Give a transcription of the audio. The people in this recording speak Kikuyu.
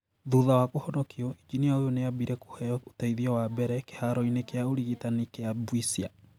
Thutha wa kũhonokio, injinia ũyũ nĩ aambire kũheo ũteithio wa mbere kĩharoinĩ kĩa ũrigitani kĩa Bwisya